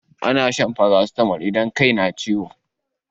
Ana shan farasitamol idan kai na ciwo.